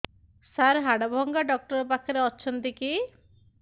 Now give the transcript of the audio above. ସାର ହାଡଭଙ୍ଗା ଡକ୍ଟର ପାଖରେ ଅଛନ୍ତି କି